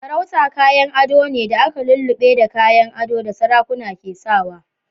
Sarauta kayan ado ne da aka lullube da kayan adon da sarakuna ke sawa.